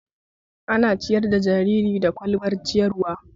Ana ciyar da jariri da ƙwalbar ciyarwa